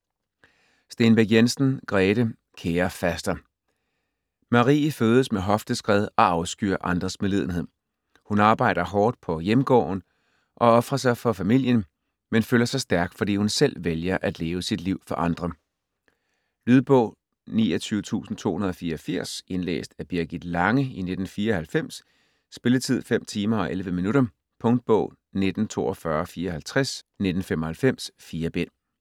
Stenbæk Jensen, Grete: Kære faster Marie fødes med hofteskred og afskyr andres medlidenhed. Hun arbejder hårdt på hjemgården og ofrer sig for familien, men føler sig stærk, fordi hun selv vælger at leve sit liv for andre. Lydbog 29284 Indlæst af Birgit Lange, 1994. Spilletid: 5 timer, 11 minutter. Punktbog 194254 1995. 4 bind.